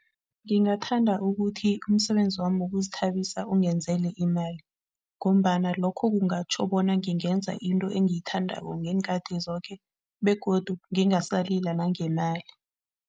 Ngingathanda ukuthi umsebenzi wami wokuzithabisa ungenzele imali ngombana lokho kungatjho bona ngingenza into engiyithandako ngeenkhathi zoke begodu ngingasalila nangemali.